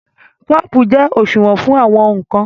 Kọ́ọ̀pù jẹ́ òṣùwọ̀n fún àwọn ǹkan